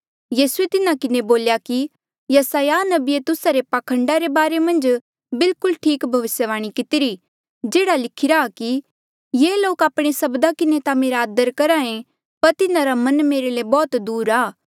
यीसूए तिन्हा किन्हें बोल्या कि यसायाह नबिये तुस्सा रे पाखंडा रे बारे मन्झ बिलकुल ठीक भविस्यवाणी कितिरी जेह्ड़ा लिखिरा कि ये लोक आपणे सब्दा किन्हें ता मेरा आदर करहा ऐें पर तिन्हारा मन मेरे ले बौहत दूर आ